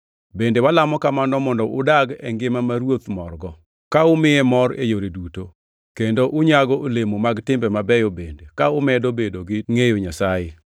Bende walamo kamano mondo udag e ngima ma Ruoth morgo, ka umiye mor e yore duto, kendo unyago olemo mag timbe mabeyo bende ka umedo bedo gi ngʼeyo Nyasaye.